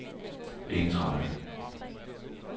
ensrettet